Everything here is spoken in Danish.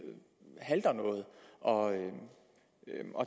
halter noget og at